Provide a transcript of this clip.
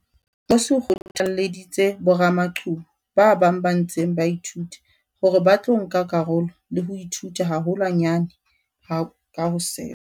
Nkosi o kgothalleditse boramaqhubu ba bang ba ntseng ba ithuta hore ba tlo nka karolo le ho ithuta haholwanyane ka ho sefa.